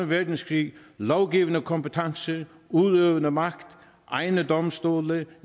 verdenskrig lovgivende kompetence udøvende magt egne domstole